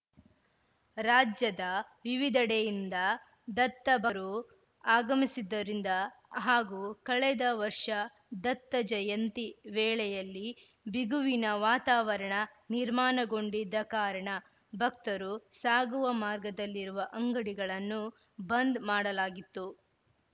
ರಾಜ್ಯದ ವಿವಿಧೆಡೆಯಿಂದ ದತ್ತಭಕ್ತರು ಆಗಮಿಸಿದ್ದರಿಂದ ಹಾಗೂ ಕಳೆದ ವರ್ಷ ದತ್ತಜಯಂತಿ ವೇಳೆಯಲ್ಲಿ ಬಿಗುವಿನ ವಾತಾವರಣ ನಿರ್ಮಾಣಗೊಂಡಿದ್ದ ಕಾರಣ ಭಕ್ತರು ಸಾಗುವ ಮಾರ್ಗದಲ್ಲಿರುವ ಅಂಗಡಿಗಳನ್ನು ಬಂದ್‌ ಮಾಡಲಾಗಿತ್ತು